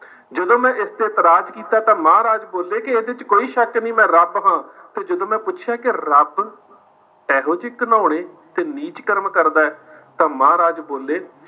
ਜਦੋ ਮੈਂ ਇਸ ਤੇ ਇਤਰਾਜ਼ ਕੀਤਾ ਤਾਂ ਮਹਾਰਾਜ ਬੋਲੇ ਕਿ ਇਹਦੇ ਵਿੱਚ ਕਿ ਕੋਈ ਸ਼ੱਕ ਨਹੀਂ ਮੈਂ ਰੱਬ ਹਾਂ। ਜਦੋਂ ਮੈਂ ਪੁੱਛਿਆ ਕਿ ਰੱਬ, ਇਹੋ ਜਿਹੇ ਘਿਨੌਣੇ ਤੇ ਨੀਚ ਕਰਮ ਕਰਦੇ, ਤਾਂ ਮਹਾਰਾਜ ਬੋਲੇ